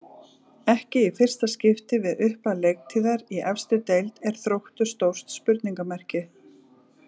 Ekki í fyrsta skipti við upphaf leiktíðar í efstu deild er Þróttur stórt spurningamerki.